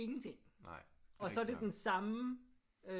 Ingenting og så er det den samme øh